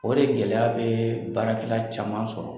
O de gɛlɛya bɛ baarakɛla caman sɔrɔ.